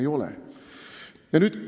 Ei ole!